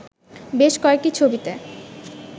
বেশ কয়েকটি ছবিতে